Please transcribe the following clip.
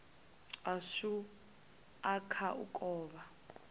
ashu a kha u kovha